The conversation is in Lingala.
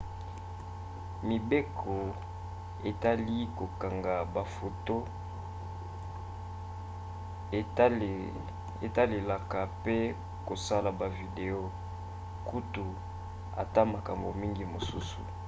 mibeko etali kokanga bafoto etalelaka pe kosala bavideo kutu ata makambo mingi mosusu